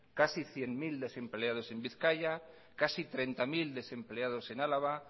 casi cien mil desempleados en bizkaia casi treinta mil desempleados en álava